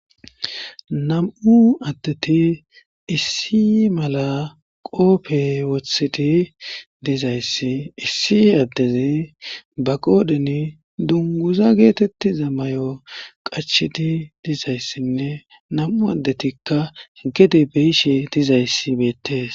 Nam7u addeti issi mala qoope wothidi dizayssi issi addezi ba qoodhin dunguza geetetti za mayo qacheti dizayssinne nam7u addetikka gede beishe dizayssi beettees.